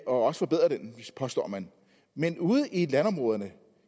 også forbedre den påstår man men ude i landområderne